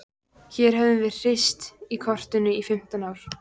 Hér höfum við hírst í kotinu í fimmtán ár.